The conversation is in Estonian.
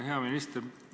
Hea minister!